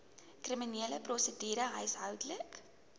kriminele prosedure huishoudelike